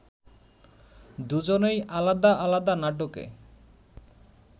দুজনই আলাদা আলাদা নাটকে